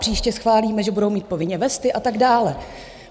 Příště schválíme, že budou mít povinně vesty a tak dále.